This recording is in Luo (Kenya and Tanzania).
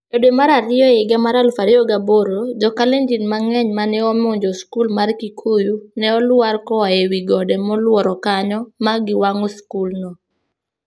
E dwe mar ariyo higa mar 2008, jo Kalenjin mang'eny ma ne omonjo skul mar Kikuyu, ne olwar koa e wi gode molworo kanyo ma giwang'o skulno.